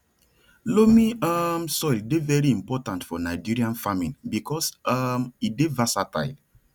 loamy um soil dey very important for nigerian farming because um e dey versatile